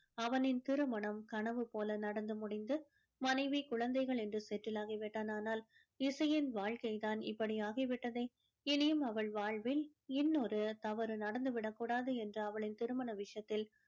அவனின் திருமணம் கனவு போல நடந்து முடிந்து மனைவி குழந்தைகள் என்று settle ஆகி விட்டான் ஆனால் இசையின் வாழ்கை தான் இப்படி ஆகிவிட்டதே இனியும் அவள் வாழ்வில் இன்னொரு தவறு நடந்து விடக்கூடாது என்று அவளின் திருமண விஷயத்தில்